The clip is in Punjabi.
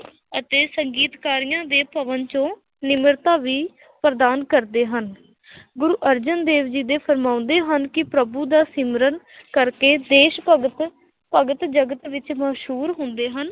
ਅਤੇ ਸੰਗੀਤਕਾਰੀਆਂ ਦੇ ਭਵਨ ਚੋਂ ਨਿਮਰਤਾ ਵੀ ਪ੍ਰਦਾਨ ਕਰਦੇ ਹਨ ਗੁਰੂ ਅਰਜਨ ਦੇਵ ਜੀ ਦੇ ਫੁਰਮਾਉਂਦੇ ਹਨ ਕਿ ਪ੍ਰਭੂ ਦਾ ਸਿਮਰਨ ਕਰਕੇ ਦੇਸ ਭਗਤ ਭਗਤ ਜਗਤ ਵਿੱਚ ਮਸ਼ਹੂਰ ਹੁੰਦੇ ਹਨ।